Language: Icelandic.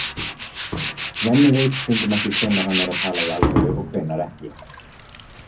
Svenni veit stundum ekki hvenær hann er að tala í alvöru og hvenær ekki.